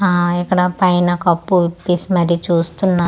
ఆఆ ఇక్కడ పైన కప్పు విపేసి మరి చూస్తున్న--